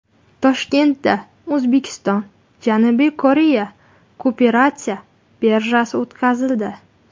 Toshkentda O‘zbekistonJanubiy Koreya kooperatsiya birjasi o‘tkazildi.